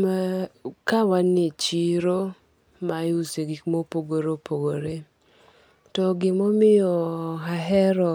Ma, ka wan e chiro, ma iuse gik ma opogore opogore. To gima omiyo ahero